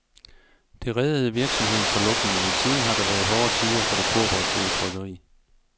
Det reddede virksomheden fra lukning, men siden har der været hårde tider for det kooperative trykkeri.